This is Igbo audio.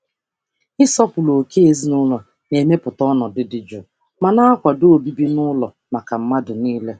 um Ịsọpụrụ ókè ezinụlọ na-emepụta ọnọdụ dị jụụ ma na-akwado obibi n'ụlọ maka mmadụ niile.